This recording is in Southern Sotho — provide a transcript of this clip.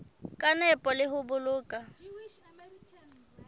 ka nepo le ho boloka